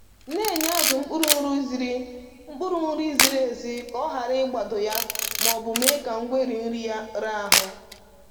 Na-enye azụ mkpụrụ nri ziri mkpụrụ nri ziri ezi ka ọ hara ị gbado ya ma ọ bụ mee ka ngweri nri ya raa ahụ